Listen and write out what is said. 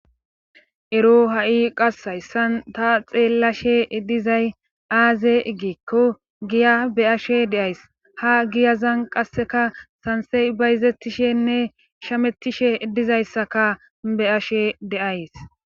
ero ha7i qassays san ta xeellashe dizay aaze igikko giya be7ashe deays ha giyazan qasseka sansey bayzettishenne shamettishe dizayssaka be7ashe deays